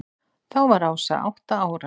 Þá var Ása átta ára.